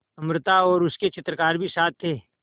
अमृता और उसके चित्रकार भी साथ थे